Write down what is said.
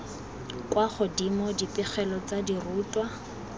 kwa godimo dipegelo tsa dirutwa